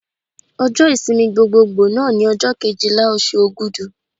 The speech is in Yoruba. Ọjọ́ ìsinmi gbogboògbò náà ni ọjọ́ Kejìlá oṣù Ògudù.